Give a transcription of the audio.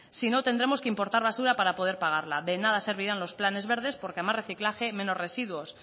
sino tendremos que importar basura para poder pagarla de nada servirán los planes verdes porque a más reciclaje menos residuos